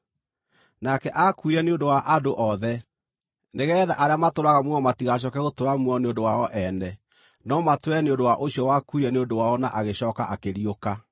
Nake aakuire nĩ ũndũ wa andũ othe, nĩgeetha arĩa matũũraga muoyo matigacooke gũtũũra muoyo nĩ ũndũ wao ene, no matũũre nĩ ũndũ wa ũcio wakuire nĩ ũndũ wao na agĩcooka akĩriũka.